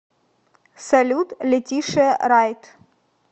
салют летишиа райт